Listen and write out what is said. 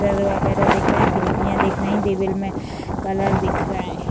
Motor वगैरा दिख रहे हैं खिड़कियां दिख रही है में कलर दिख रहे हैं।